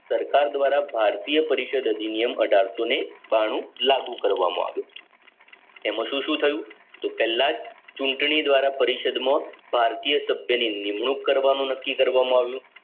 સરકાર દ્વારા ભારતીય પરિષદ અધિનિયમ અઢારસો ને બાણું લાગુ કરવામાં આવ્યું તેમાં શું શું થયું તો પેલા જ ચૂંટણી દ્વારા પરિષદ માં ભારતીય સભ્ય ની નિમણૂંક કરવાનું નક્કી કરવા માં આવ્યું